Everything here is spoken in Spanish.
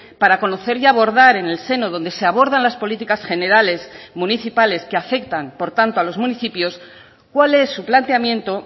para conocer y abordar en el seno donde se abordan las políticas generales municipales que afectan por tanto a los municipios cuál es su planteamiento